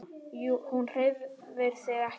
Hún hreyfir sig ekki.